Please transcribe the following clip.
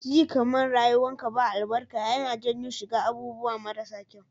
Ji kaman rayuwar ka ba albarka yAna janyo shiga abubuwa mara sa kyau